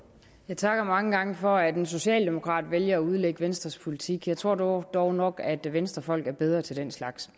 jeg takker mange gange for at en socialdemokrat vælger at udlægge venstres politik jeg tror dog dog nok at venstrefolk er bedre til den slags